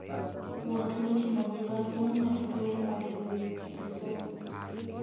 Wuoth mitimo gi bas miyo ng'ato thuolo mar yueyo kendo somo.